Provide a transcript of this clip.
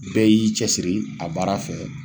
Bɛɛ y'i cɛsiri a baara fɛ